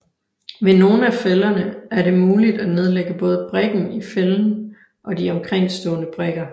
Ved nogle af fælderne er det muligt at nedlægge både brikken i fælden og de omkringstående brikker